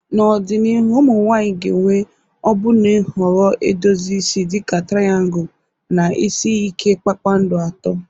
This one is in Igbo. N'ọdịnihu, ụmụ nwanyị ga-enwe ọbụna nhọrọ edozi isi dị ka triangu na isi ike kpakpando atọ.